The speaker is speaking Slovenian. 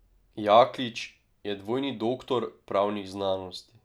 Jaklič je dvojni doktor pravnih znanosti.